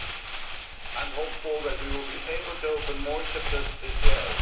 12. I am hopeful that we will be able to open more chapters this year.